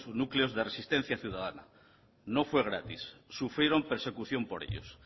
núcleos de resistencia ciudadana no fue gratis sufrieron persecución por ellos